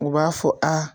U b'a fɔ a